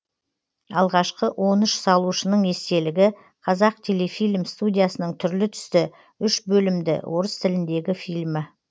алғашқы он үш салушының естелігі қазақтелефильм студиясының түрлі түсті үш бөлімді орыс тіліндегі фильмі